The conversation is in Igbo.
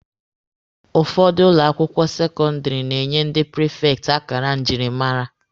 Ụfọdụ ụlọ akwụkwọ sekọndịrị na-enye ndị prifekti akara njirimara.